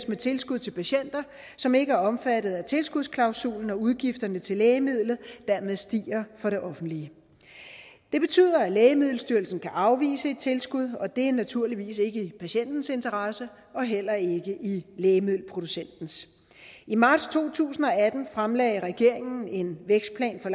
med tilskud til patienter som ikke er omfattet af tilskudsklausulen og hvor udgifterne til lægemidlet dermed stiger for det offentlige det betyder at lægemiddelstyrelsen kan afvise et tilskud og det er naturligvis ikke i patientens interesse og heller ikke i lægemiddelproducentens i marts to tusind og atten fremlagde regeringen en vækstplan for